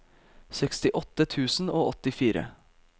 sekstiåtte tusen og åttifire